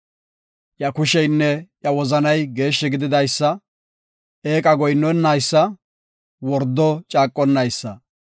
Iya kusheynne iya wozanay geeshshi gididaysa; eeqa goyinnonnaysa, wordo caaqonnaysa.